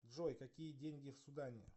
джой какие деньги в судане